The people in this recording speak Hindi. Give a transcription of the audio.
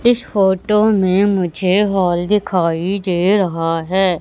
इस फोटो में मुझे हॉल दिखाई दे रहा है।